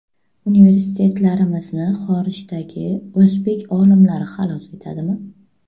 Universitetlarimizni xorijdagi o‘zbek olimlari xalos etadimi?